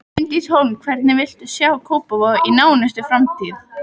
Bryndís Hólm: Hvernig viltu sjá Kópavog í nánustu framtíð?